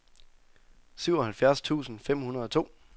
syvoghalvfjerds tusind fem hundrede og to